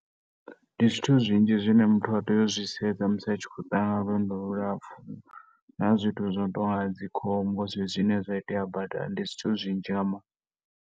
Ndi zwithu zwinzhi zwine muthu a tea u zwi sedza musi a tshi khou ḓa kha lwendo lu lapfhu na zwithu zwo no tou nga dzi khombo zwezwi zwine zwa itea badani. Ndi zwithu zwinzhi nga maanḓa.